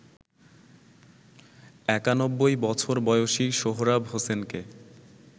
৯১ বছর বয়সী সোহরাব হোসেনকে